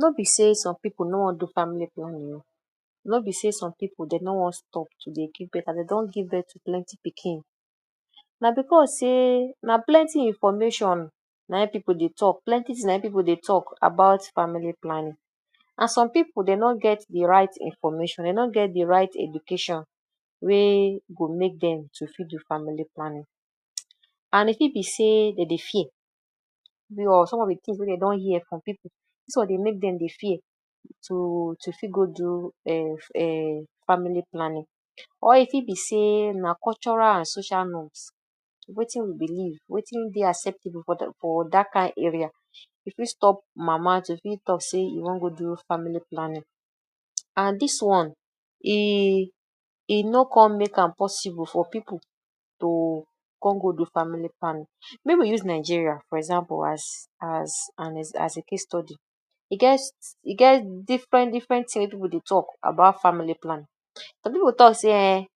No be sey some pipu no wan do family planning oo, no be sey some pipu dey no wan stop to dey give birth, as dey don give birth to plenty pikin. Na because sey na plenty information na e pipu dey talk, plenty thing na e pipu dey talk about family planning and some pipu dey no get de right information, dey no get de right education wey go make dem to fit do family planning. And e fit be sey dem dey fear? Some of de things wey dey don hear for pipu, dis one dey make dem dey fear to to fit go do um family planning. Or e fit be sey na cultural and social norms; wetin we believe, wetin dey acceptable for? for dat kain area. E fit stop mama to fit talk sey e wan go do family planning and dis one e e no come make am possible for pipu to come go do family planning. Make we use Nigeria for example as an,? as a case study. E get e get different different things wey pipu dey talk about family planning. Some pipu talk sey um